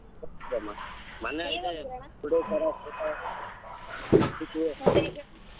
ಮೊನ್ನೆ ಬಿಡು .